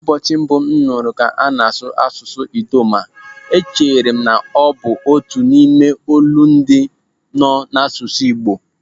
Ụbọchị mbụ m nụrụ ka ana-asụ asụsụ Idoma, echere na ọ bụ otu n'ime olundị nọ n'asụsụ Igbo.